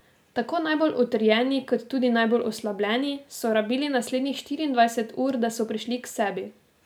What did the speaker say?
Tako najbolj utrjeni kot tudi najbolj oslabeli so rabili naslednjih štiriindvajset ur, da so prišli k sebi.